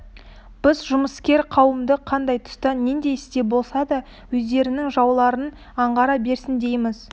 біз жұмыскер қауымды қандай тұста нендей істе болса да өздерінің жауларын аңғара берсін дейміз